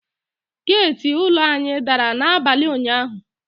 Geti ụlọ anyị dara n;abalị ụnyaahụ.